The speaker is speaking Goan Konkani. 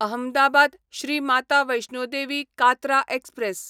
अहमदाबाद श्री माता वैष्णो देवी कात्रा एक्सप्रॅस